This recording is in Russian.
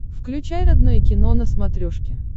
включай родное кино на смотрешке